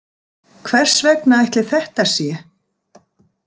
Hvers vegna ætli þetta sé?